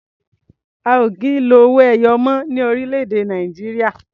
A ò kì í lo owó ẹyọ mọ́ ní orílẹ̀-èdè Nàìjíríà.